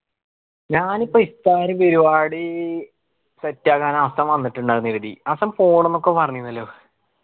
ഞാൻ ഇപ്പോ iftar പരുവാടി set ആക്കാൻ ഹസ്സൻ വന്നിട്ടിണ്ടായ്നു ഈടീം ഹസ്സൻ പോണം ഒക്കെ പറഞ്ഞിൻലോ